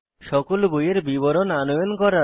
সকল বইয়ের বিবরণ আনয়ন করা